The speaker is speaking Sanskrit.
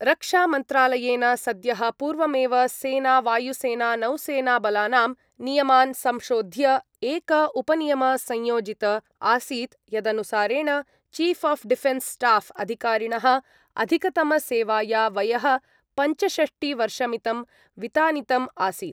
रक्षामन्त्रालयेन सद्यः पूर्वमेव सेनावायुसेनानौसेनाबलानां नियमान् संशोध्य एक उपनियम संयोजित आसीत् यदनुसारेण चीफ् आफ् डिफेन्स् स्टाफ् अधिकारिणः अधिकतमसेवाया वयः पञ्चषष्टिवर्षमितं वितानितम् आसीत्।